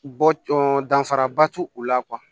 Bɔ cɔ danfaraba t'u la